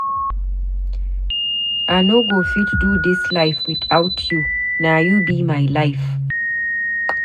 I no go fit do dis life witout you, na you be my life.